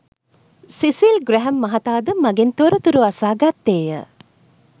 සිසිල් ග්‍රැහැම් මහතා ද මගෙන් තොරතුරු අසා ගත්තේය